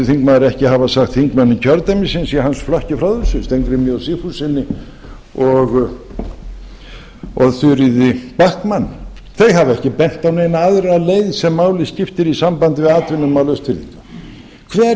þingmaður ekki hafa sagt þingmönnum kjördæmisins í hans flokki frá þessu steingrími j sigfússyni og þuríði backman þau hafa ekki bent á neina aðra leið sem máli skiptir í sambandi við atvinnumál austfirðinga hver